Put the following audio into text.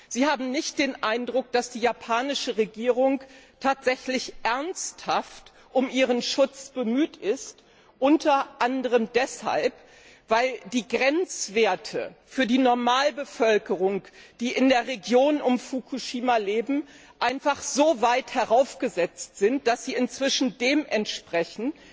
Sie haben nicht den Eindruck, dass die japanische Regierung tatsächlich ernsthaft um ihren Schutz bemüht ist, unter anderem deshalb, weil die Grenzwerte für die Normalbevölkerung, die in der Region um Fukushima lebt, so weit heraufgesetzt sind, dass sie inzwischen dem entsprechen,